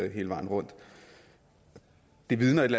hele vejen rundt det vidner et